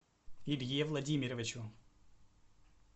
илье владимировичу